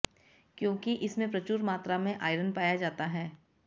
क्योंकि इसमें प्रचूर मात्रा में आइरन पाया जाता है